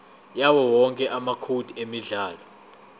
yawowonke amacode emidlalo